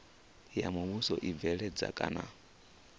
ya muvhuso u bveledza kana